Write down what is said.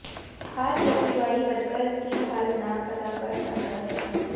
ਹਰ ਖੇਤੀਬਾੜੀ ਵਰਕਰ ਕੀ ਹਲ ਨਾ ਪਤਾ ਕਰ ਸਕਦਾ ਹੈ